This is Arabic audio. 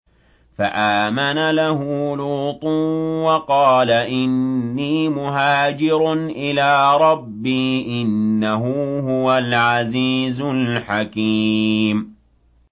۞ فَآمَنَ لَهُ لُوطٌ ۘ وَقَالَ إِنِّي مُهَاجِرٌ إِلَىٰ رَبِّي ۖ إِنَّهُ هُوَ الْعَزِيزُ الْحَكِيمُ